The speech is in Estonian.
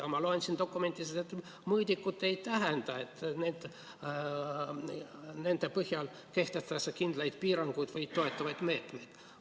Aga ma loen siit dokumendist, et mõõdikud ei tähenda, et nende põhjal kehtestatakse kindlaid piiranguid või toetavaid meetmeid.